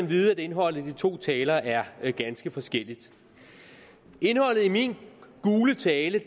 vide at indholdet af de to taler er ganske forskelligt min gule tale